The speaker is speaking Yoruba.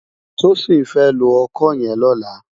Tosin fè ló òkõ yèn lòlá